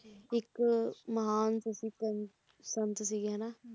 ਇੱਕ ਮਹਾਨ ਸੂਫੀ ਸੰਤ ਸੰਤ ਸੀਗੇ ਹਨਾਂ